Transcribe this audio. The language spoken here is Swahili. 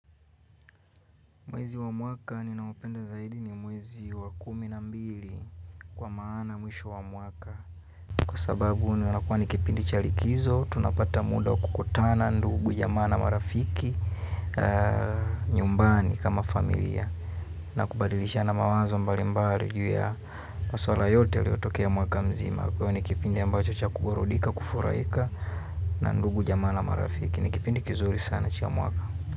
Mwezi wa mwaka ninaoupenda zaidi ni mwezi wa kumi na mbili kwa maana mwisho wa mwaka. Kwa sababu inakua ni kipindi cha likizo, tunapata muda wa kukutana ndugu, jamaa na marafiki nyumbani kama familia. Na kubadilishana mawazo mbalimbali juu ya maswala yote yaliyotokea mwaka mzima. Huwa n kiipindi ambacho cha kuburudika, kufurahika na ndugu jamaa na marafiki. Ni kipindi kizuri sana cha mwaka.